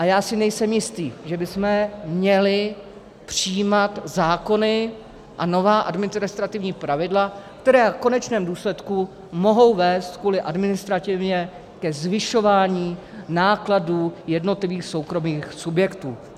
A já si nejsem jistý, že bychom měli přijímat zákony a nová administrativní pravidla, která v konečném důsledku mohou vést kvůli administrativě ke zvyšování nákladů jednotlivých soukromých subjektů.